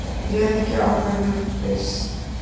Réð ekki ákvörðunum Byrs